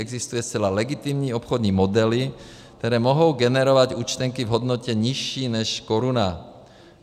Existují zcela legitimní obchodní modely, které mohou generovat účtenky v hodnotě nižší než koruna.